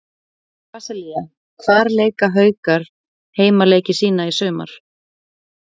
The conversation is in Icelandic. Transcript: Brasilía Hvar leika Haukar heimaleiki sína í sumar?